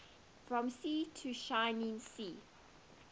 from sea to shining sea